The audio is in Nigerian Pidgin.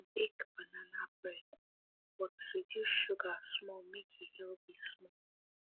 dem bake banana bread um but reduce sugar um small make e healthy um small